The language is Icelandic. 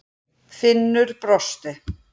Finnur brosti.